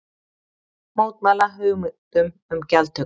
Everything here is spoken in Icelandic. Mótmæla hugmyndum um gjaldtöku